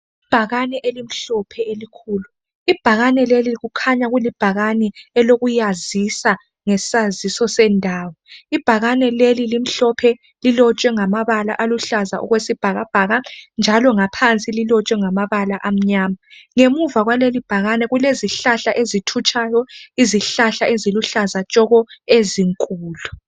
Ibhakane elimhlophe elikhulu! Ibhakane leli kukhanya kulibhakane elokuyazisa ngesaziso sendawo. Ibhakane leli limhlophe. Lilotshwe ngamabala aluhlaza okwesibhakabhaka, njalo ngaphansi, lilotshwe ngamabala amnyama. Ngemuva kwalelibhakane, kulezihlahla ezithutshayo. Izihlahla eziluhlaza tshoko, ezinkulu!